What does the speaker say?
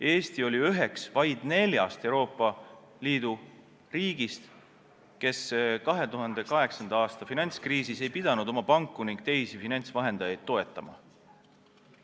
Eesti oli üks vaid neljast Euroopa Liidu riigist, kes 2008. aasta finantskriisis ei pidanud oma panku ning teisi finantsvahendajaid toetama.